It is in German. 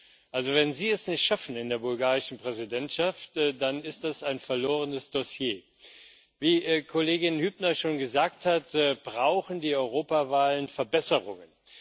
zu. Also, wenn Sie es nicht schaffen, in der bulgarischen Präsidentschaft, dann ist das ein verlorenes Dossier. Wie Kollegin Hübner schon gesagt hat, brauchen die Europawahlen Verbesserungen.